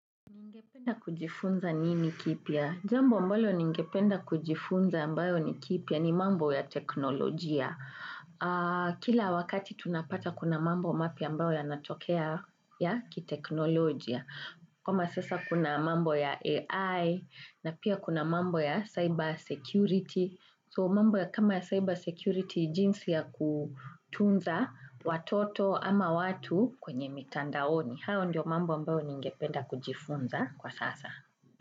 Ningependa kujifunza nini kipya? Jambo ambalo ningependa kujifunza ambayo ni kipya ni mambo ya teknolojia. Kila wakati tunapata kuna mambo mapya ambayo ya natokea ya ki teknolojia. Kama sasa kuna mambo ya AI pia kuna mambo ya cyber security So mambo ya kama ya cyber security jinsi ya kutunza watoto ama watu kwenye mitandaoni. Hayo ndio mambo mbayo ninge penda kujifunza kwa sasa.